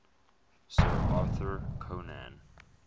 sir arthur conan